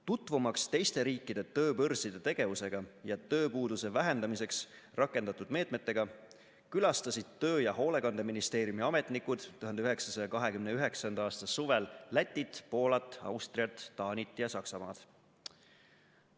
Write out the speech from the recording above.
Tutvumaks teiste riikide tööbörside tegevusega ja tööpuuduse vähendamiseks rakendatud meetmetega, külastasid Töö- ja Hoolekandeministeeriumi ametnikud 1929. aasta suvel Lätit, Poolat, Austriat, Taanit ja Saksamaad.